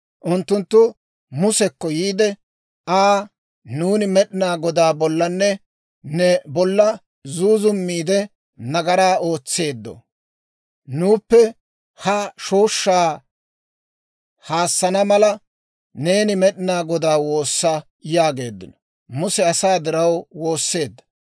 Unttunttu Musekko yiide Aa, «Nuuni Med'inaa Godaa bollanne ne bolla zuuzummiide, nagaraa ootseeddo. Nuuppe ha shooshshaa haassana mala, neeni Med'inaa Godaa woossa» yaageeddino. Muse asaa diraw woosseedda.